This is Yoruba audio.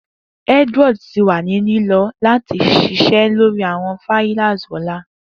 Edward ti wa ni lilọ lati sise lori awọn fliers ọla.